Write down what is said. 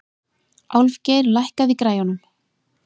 Álfgeir, lækkaðu í græjunum.